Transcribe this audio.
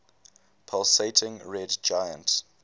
pulsating red giant